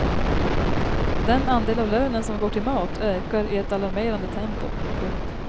Den andel av lönen som går till mat ökar i ett alarmerande tempo. punkt